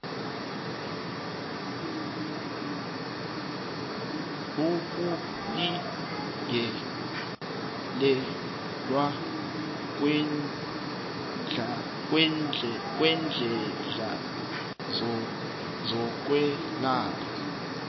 ukulingelelwa kweenhlahla zokwelapha